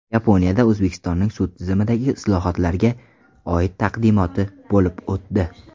Yaponiyada O‘zbekistonning sud tizimidagi islohotlarga oid taqdimoti bo‘lib o‘tdi.